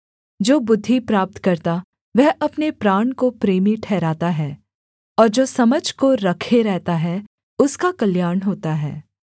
जो बुद्धि प्राप्त करता वह अपने प्राण को प्रेमी ठहराता है और जो समझ को रखे रहता है उसका कल्याण होता है